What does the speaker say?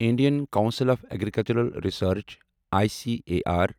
Indian council of agricultural research I C A R